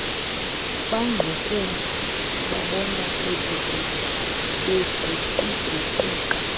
bangqukuva sibabona beguquguquka